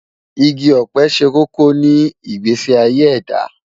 Igi ọ̀pẹ ṣe kókó ní ìgbésí ayé ẹ̀dá.